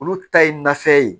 Olu ta ye nafɛn ye